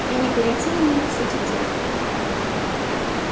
и не перейти ли нам к сути дела